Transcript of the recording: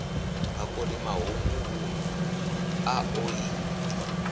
bakoni mahunguvhu a ḓo i